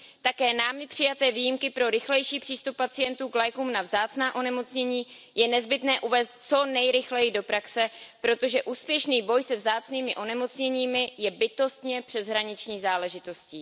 Také námi přijaté výjimky pro rychlejší přístup pacientů k lékům na vzácná onemocnění je nezbytné uvést co nejrychleji do praxe, protože úspěšný boj se vzácnými onemocněními je bytostně přeshraniční záležitostí.